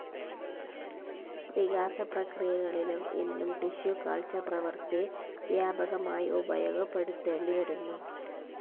വികാസപ്രക്രീയകളിലും ഇന്നും tissue culture പ്രവൃത്തി വ്യാപകമായി ഉപയോഗപ്പെടുത്തേണ്ടിവരുന്നു.